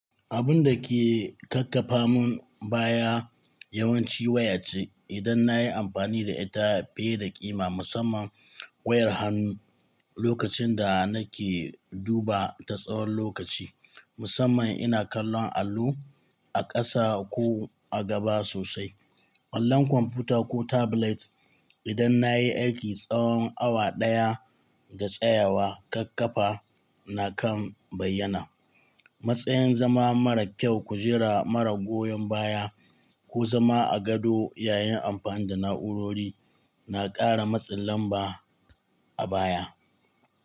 Abunda ke kakkafa mun baya yawanci waya ce. Idan nayi amfani da ita fiye da ƙima, musamman wayar hannu lokacin da nake duba ta tsawon lokaci, musamman ina kallon allo a ƙasa ko a gaba sosai, allon kwamfuta ko tablet idan na yi aiki tsawon awa ɗaya da tsayawa, ƙarfafa na kan bayyana. Matsayan zama mara kyau, kujera mara goyon baya ko zama a gado yayin amfani da na'urori na ƙara matsin lamba a baya.